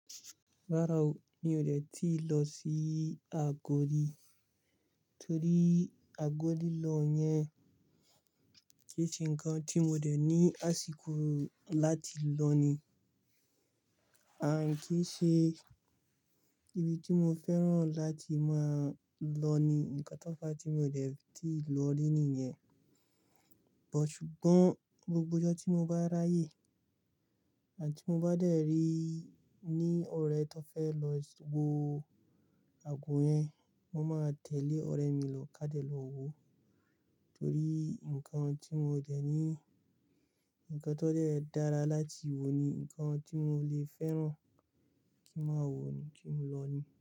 Rárá o, mi ò dètí lọ sí Àgodi, torí Àgodi lilọ yẹn kì í ṣe nǹkan tí mo dẹ̀ ní àsìkò láti lọ ni. Àǹkí ṣe ibi tí mo fẹ́ràn láti máa lọ ni, ǹkan tó fa tí mo dẹ̀ ti lọ rí nìyẹn. But sùgbọ́n gbogbo ọjọ́ tí mo bá ráyè àti mo bá dẹ̀ rí ní ọ̀rẹ́ tó fẹ́ lọ wo àgbo yẹn, mo máa tẹ̀lé ọ̀rẹ́ mi lọ ká dẹ̀ lọ wo, torí nǹkan tí mo dẹ̀ ní, ǹkan tó dẹ̀ dára láti wo ni, ǹkan tí mo le fẹ́ràn kí n máa wo ni tí mo lọ ni.